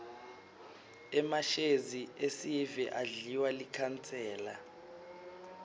emashezi esive adliwa likhansela